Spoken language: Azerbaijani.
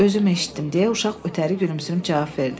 Özüm eşitdim, deyə uşaq ötəri gülümsünüb cavab verdi.